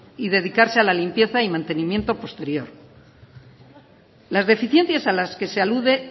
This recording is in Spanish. y dedicarse a la limpieza y mantenimiento posterior las deficiencias a las que se alude